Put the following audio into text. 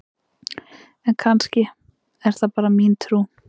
En kannski er það bara mín trú!?